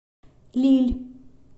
лилль